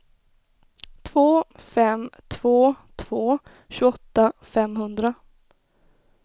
två fem två två tjugoåtta femhundra